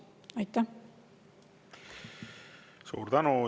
Suur tänu!